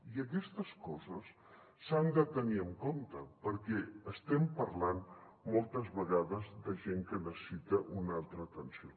i aquestes coses s’han de tenir en compte perquè estem parlant moltes vegades de gent que necessita una altra atenció